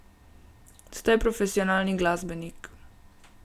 Ste profesionalni glasbenik.